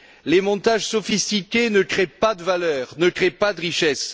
Les montages sophistiqués ne créent pas de valeurs, ne créent pas de richesses.